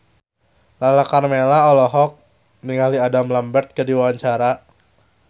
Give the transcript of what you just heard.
Lala Karmela olohok ningali Adam Lambert keur diwawancara